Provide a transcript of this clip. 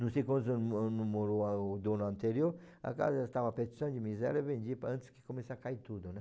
Não sei quantos anos mo morou o dono anterior, a casa estava de miséria, vendi antes que comece a cair tudo, né?